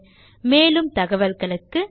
மேலும் அதிக தகவல்களுக்கு எம்மை தொடர்பு கொள்ளவும்